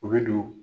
U bɛ don